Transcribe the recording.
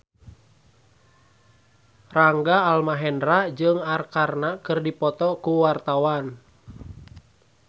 Rangga Almahendra jeung Arkarna keur dipoto ku wartawan